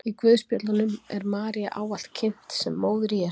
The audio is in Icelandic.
í guðspjöllunum er maría ávallt kynnt sem móðir jesú